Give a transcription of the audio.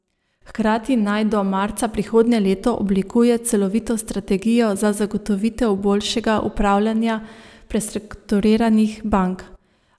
Hkrati naj do marca prihodnje leto oblikuje celovito strategijo za zagotovitev boljšega upravljanja prestrukturiranih bank.